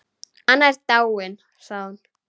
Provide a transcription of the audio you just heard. Anna er dáin sagði hún.